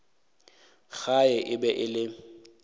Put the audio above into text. gae e be e le